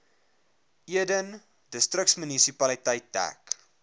eden distriksmunisipaliteit dek